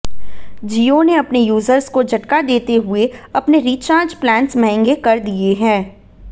जियो ने अपने यूजर्स को झटका देते हुए अपने रिचार्ज प्लान्स महंगे कर दिए हैं